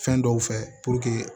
Fɛn dɔw fɛ